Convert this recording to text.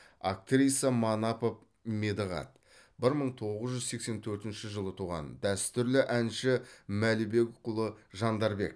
актриса манапов медығат бір мың тоғыз жүз сексен төртінші жылы туған дәстүрлі әнші мәлібекұлы жандарбек